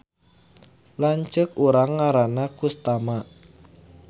Lanceuk urang ngaranna Kustama